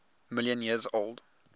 million years old